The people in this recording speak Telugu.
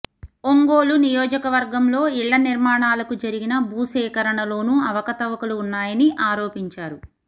ఒంగోలు నియోజకవర్గంలో ఇళ్ల నిర్మాణాలకు జరిగిన భూసేకరణలోనూ అవకతవకలు ఉన్నాయని ఆరోపించారు